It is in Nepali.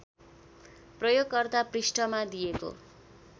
प्रयोगकर्ता पृष्ठमा दिएको